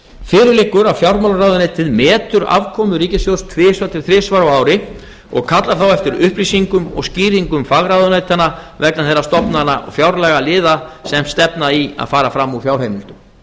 fyrir liggur að fjármálaráðuneytið metur afkomu ríkissjóðs tvisvar til þrisvar á ári og kallar þá eftir upplýsingum og skýringum fagráðuneytanna vegna þeirra stofnana og fjárlagaliða sem stefna í að fara fram úr fjárheimildum